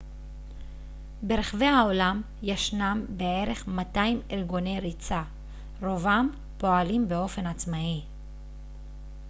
ברחבי העולם ישנם בערך 200 ארגוני ריצה רובם פועלים באופן עצמאי